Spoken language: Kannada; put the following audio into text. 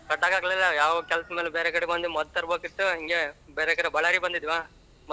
ಕಟ್ಟಕ್ಕಾಗಲಿಲ್ಲ ಯಾವ ಕೆಲಸಮೇಲೆ ಬೇರೆ ಕಡೆ ಬಂದಿ ಮದ್ದ್ ತರಬೇಕಿತ್ತು ಹಂಗೆ ಬೇರೆ ಕಡೆ ಬಳ್ಳಾರಿಗ್ ಬಂದಿದ್ವಾ ಮದ್ದ್ ತರಬೇಕಾಗಿತಾ .